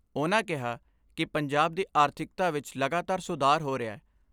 ਉਨ੍ਹਾਂ ਕਿਹਾ ਕਿ ਪੰਜਾਬ ਦੀ ਆਰਥਿਕਤਾ ਵਿਚ ਲਗਾਤਾਰ ਸੁਧਾਰ ਹੋ ਰਿਹੈ।